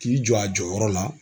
K'i jɔ a jɔyɔrɔ la.